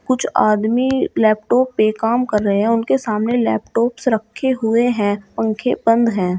कुछ आदमी लैपटॉप पर काम कर रहे हैं उनके सामने लैपटॉप्स रखे हुए हैं पंखे बंद है।